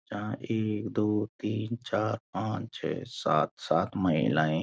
यहाँ एक दो तीन चार पांच छः सात सात महिलाएँ --